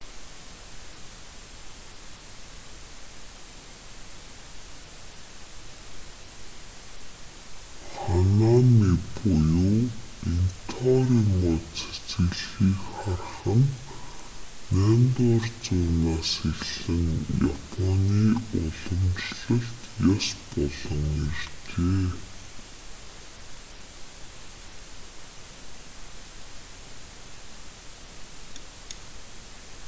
ханами буюу интоорын мод цэцэглэхийг харах нь 8-р зуунаас эхлэн японы уламжлалт ёс болон иржээ